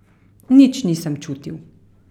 Nič nisem čutil.